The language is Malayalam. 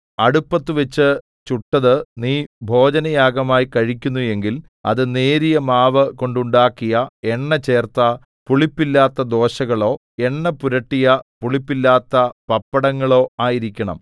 അടുപ്പത്തുവച്ചു ചുട്ടതു നീ ഭോജനയാഗമായി കഴിക്കുന്നു എങ്കിൽ അത് നേരിയ മാവു കൊണ്ടുണ്ടാക്കിയ എണ്ണചേർത്ത പുളിപ്പില്ലാത്ത ദോശകളോ എണ്ണപുരട്ടിയ പുളിപ്പില്ലാത്ത പപ്പടങ്ങളോ ആയിരിക്കണം